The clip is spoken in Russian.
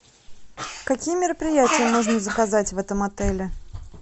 какие мероприятия можно заказать в этом отеле